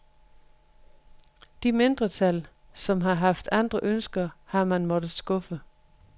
De mindretal, som har haft andre ønsker, har man måttet skuffe.